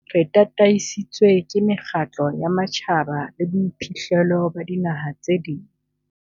Re tataisitswe ke mekgatlo ya matjhaba le boiphihlelo ba dinaha tse ding.